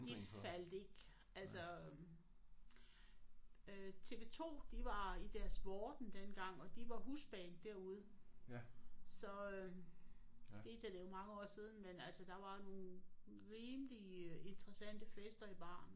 De faldt ikke altså øh TV-2 de var i deres vorden dengang og de var husband derude så øh vi taler jo mange år siden men altså der var nogle rimeligt interessante fester i baren